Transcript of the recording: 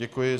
Děkuji.